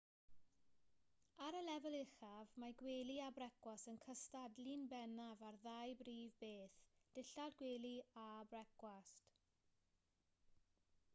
ar y lefel uchaf mae gwely a brecwast yn cystadlu'n bennaf ar ddau brif beth dillad gwely a brecwast